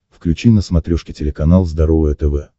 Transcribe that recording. включи на смотрешке телеканал здоровое тв